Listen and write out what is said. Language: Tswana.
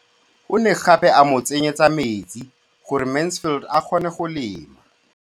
O ne gape a mo tsenyetsa metsi gore Mansfield a kgone go lema.